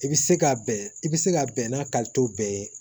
I bɛ se ka bɛn i bɛ se ka bɛn n'a bɛɛ ye